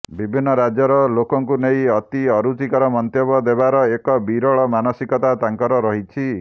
ବିଭିନ୍ନ ରାଜ୍ୟର ଲୋକଂକୁ ନେଇ ଅତି ଅରୁଚିକର ମନ୍ତବ୍ୟ ଦେବାର ଏକ ବିକଳ ମାନସିକତା ତାଂକର ରହିଛି